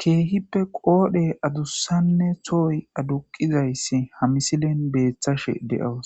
keehippe qoodhe adussanne tooy aduqizayssi hamisilen beeththashe de7oos